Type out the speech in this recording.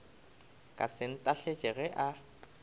ka se ntahletše ge a